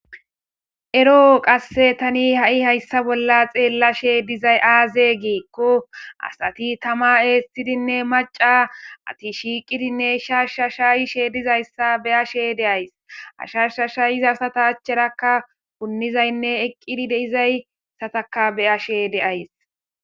Eroo tani ha'i haysa bolla beyashe diza miishi azee gikon asati tama eethidinne maca asati shaasha shakidi dizaysa beyays. Ha shaasha shayiza asata acharaka punishenne miyera eqi diza asa beyays.